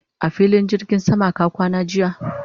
a filin jirgin sama ka kwana jiya?